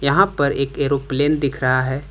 यहां पर एक एरोप्लेन दिख रहा है।